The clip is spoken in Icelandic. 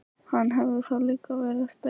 Hann hefði þá líka verið ber.